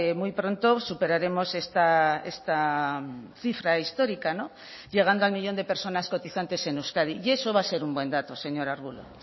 muy pronto superaremos esta cifra histórica llegando al millón de personas cotizantes en euskadi y eso va a ser un buen dato señora arbulo